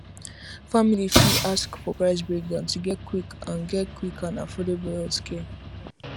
families fit ask for price breakdown to get quick and get quick and affordable healthcare